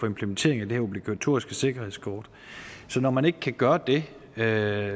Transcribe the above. implementering af det her obligatoriske sikkerhedsskort og når man ikke kan gøre det er